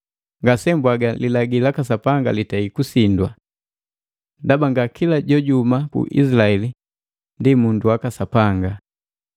Ngase mbwaga lilagi laka Sapanga litei kusindwa. Ndaba nga kila jojuhuma ku Izilaeli ndi bandu baka Sapanga.